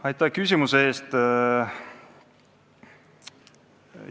Aitäh küsimuse eest!